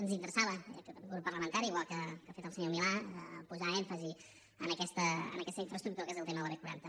ens interessava a aquest grup parlamentari igual que ha fet el senyor milà posar èmfasi en aquesta infraestructura que és el tema de la b quaranta